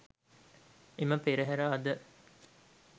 එම පෙරහර අද